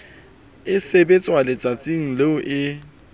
e sebetswa letsatsing leo e